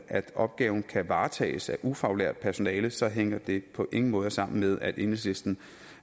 at opgaven kan varetages af ufaglært personale så hænger det på ingen måder sammen med at enhedslisten